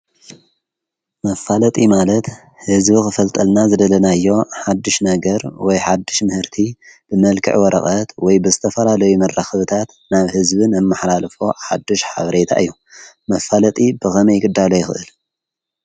መፋለጢ ማለት ሕዝቢ ኽፈልጠልና ዝደለናዮ ሓድሽ ነገር ወይ ሓድሽ ምህርቲ ብመልክዕ ወረቐት ወይ ብዝተፈላለይ መራከብታት ናብ ሕዝብን ነመሓላልፎ ሓድሽ ሓብሬታ እዮ። መፋለጢ ብኸመይ ክዳሎ ይኽእል?